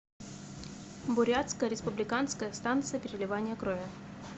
бурятская республиканская станция переливания крови